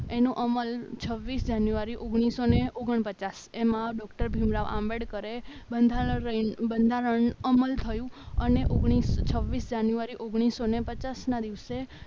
એનો અમલ છવ્વીસ જાન્યુઆરી ઓગણીસો ઓગણપચાસ એમાં ડોક્ટર ભીમ રાવ આંબેડકર એ બંધારણ બંધારણ અમલ થયું અને ઓગણીસ છવ્વીસ જાન્યુઆરી ઓગણપચાસ ના દિવસે